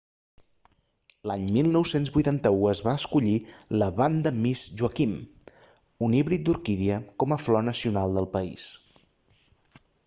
l'any 1981 es va escollir la vanda miss joaquim un híbrid d'orquídia com a flor nacional del país